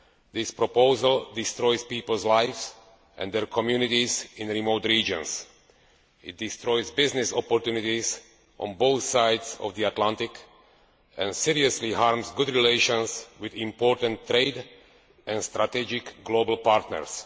This proposal destroys people's lives and their communities in remote regions. It destroys business opportunities on both sides of the Atlantic and seriously harms good relations with important trade and strategic global partners.